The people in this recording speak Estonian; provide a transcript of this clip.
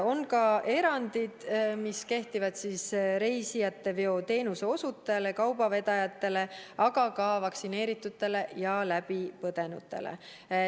On ka erandid, mis kehtivad reisijateveoteenuse osutajale, kaubavedajatele, aga ka vaktsineeritutele ja läbipõdenutele.